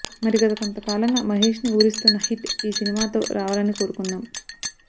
మరి గతకొంతకాలంగా మహేష్ ని ఊరిస్తున్న హిట్ ఈ సినిమాతో రావాలని కోరుకుందాం